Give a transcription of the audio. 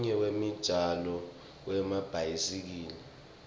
lomunye wemijaho yemabhayisikili